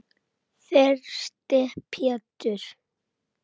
Þyrsti Pétur.